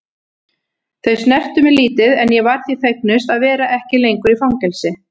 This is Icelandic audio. Þau snertu mig lítið en ég var því fegnust að vera ekki lengur í fangelsi.